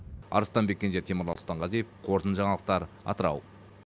арыстанбек кенже темірлан сұлтанғазиев қорытынды жаңалықтар атырау